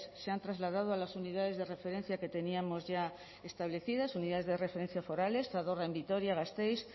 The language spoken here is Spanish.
se han trasladado a las unidades de referencia que teníamos ya establecidas unidades de referencia forales zadorra en vitoria gasteiz